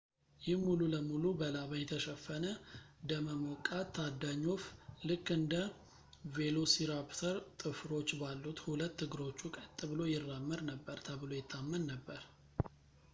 ይህ ሙሉ ለሙሉ በላባ የተሸፈነ ደመ ሞቃት ታዳኝ ወፍ ልክ እንደ velociraptor ጥፍሮች ባሉት ሁለት እግሮቹ ቀጥ ብሎ ይራመድ ነበር ተብሎ ይታመን ነበር